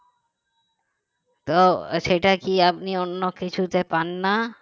তো সেটা কি আপনি অন্য কিছুতে পান না